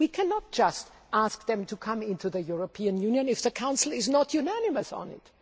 We cannot just ask them to come into the European Union if the Council is not unanimous on